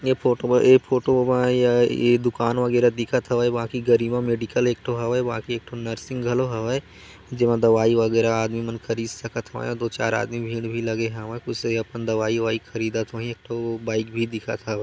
ए photo ऐ photo म ए दुकान वगेरा दिखत हवै बाकि गरिमा मेडिकल एक ठो हवै बाकि एक ठो नर्सिंग घलो हवै जे मा दवाई वगेरा आदमी मन खरीद सकत हावय दो चार आदमी भीड़ भी लगे हवै अपन दवाई ववाई ख़रीदत होही एक ठो बाइक भी दिखत ह--